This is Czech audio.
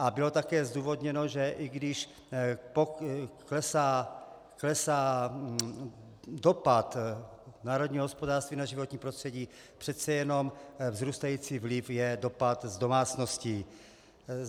A bylo také zdůvodněno, že i když klesá dopad národního hospodářství na životní prostředí, přece jenom vzrůstající vliv je dopad z domácností.